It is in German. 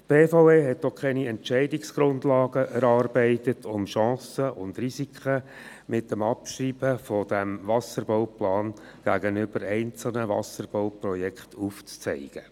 Die BVE hat auch keine Entscheidungsgrundlagen erarbeitet, um Chancen und Risiken mit dem Abschreiben dieses Wasserbauplans gegenüber einzelnen Wasserbauprojekten aufzuzeigen.